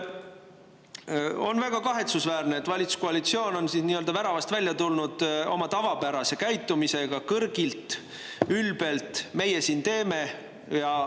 On väga kahetsusväärne, et valitsuskoalitsioon on nii-öelda väravast välja tulnud oma tavapärase käitumisega, kõrgilt ja ülbelt: "Meie siin teeme.